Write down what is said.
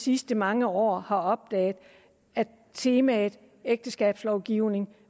sidste mange år har opdaget at temaet ægteskabslovgivning